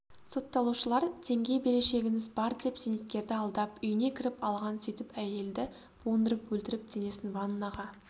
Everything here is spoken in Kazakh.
сотталушылар теңге берешегіңіз бар деп зейнеткерді алдап үйіне кіріп алған сөйтіп әйелді буындырып өлтіріп денесін ваннаға